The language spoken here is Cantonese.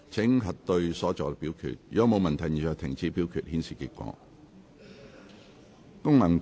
如果沒有問題，現在停止表決，顯示結果。